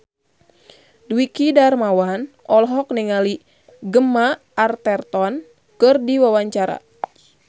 Dwiki Darmawan olohok ningali Gemma Arterton keur diwawancara